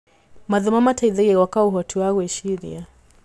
Mathomo mateithagia gwaka ũhoti wa gwĩciria.